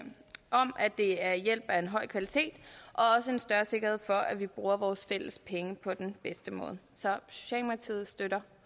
det er hjælp af en høj kvalitet og også en større sikkerhed for at vi bruger vores fælles penge på den bedste måde så socialdemokratiet støtter